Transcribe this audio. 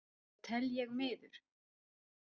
Það tel ég miður.